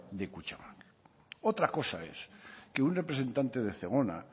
de kutxabank otra cosa es que un representante de zegona